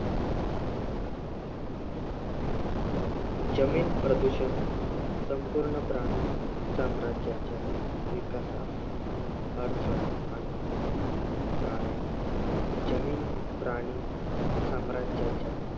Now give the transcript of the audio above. जमीन प्रदूषण संपूर्ण प्राणी साम्राज्याच्या विकासास अडथळा आणते. कारण जमीन प्राणी साम्राजाच्या